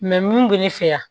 mun bɛ ne fɛ yan